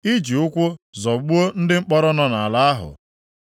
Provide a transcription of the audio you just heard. Iji ụkwụ zọgbuo ndị mkpọrọ nọ nʼala ahụ